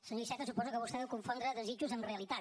senyor iceta suposo que vostè deu confondre desitjos amb realitat